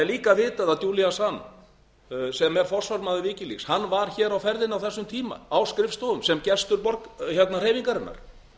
líka vitað að julian assange sem er forsvarsmaður wikileaks var hér á ferðinni á þessum tíma á skrifstofum sem gestur hreyfingarinnar